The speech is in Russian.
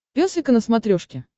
пес и ко на смотрешке